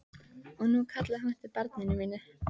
Og nú kallaði hún eftir barni mínu.